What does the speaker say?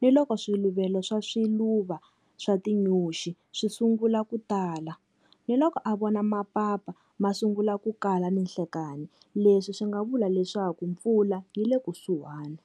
ni loko swiluvelo swa swiluva swa tinyoxi swi sungula ku tala, ni loko a vona mapapa ma sungula ku kala ninhlekani leswi swi nga vula leswaku mpfula yi le kusuhani.